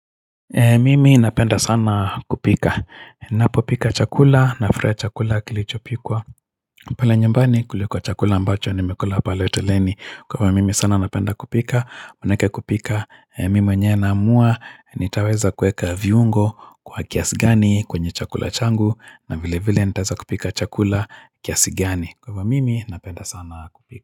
Mimi napenda sana kupika. Ninapopika chakula nakula chakula kilichopikwa. Pale nyumbani kuliko chakula ambacho nimekula pale hotelini. Kwa ivo mimi sana napenda kupika. Manake kupika. Mimi mwenyewe naamua. Nitaweza kueka viungo kwa kiasi gani kwenye chakula changu. Na vile vile nitaweza kupika chakula kiasi gani. Kwa vwa mimi napenda sana kupika.